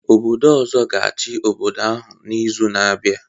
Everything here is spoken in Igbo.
Obodo ọzọ ga-achị obodo ahụ n'izu na-abịa